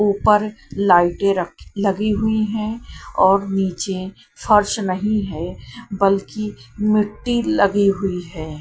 ऊपर लाइटें रख लगी हुई हैं और नीचे फर्श नहीं है बल्कि मिट्टी लगी हुई है।